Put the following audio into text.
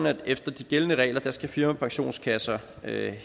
at efter de gældende regler skal firmapensionskasser have